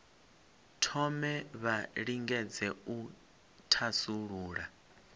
thome vha lingedze u thasulula